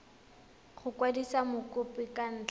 go kwadisa mokopi ka ntlha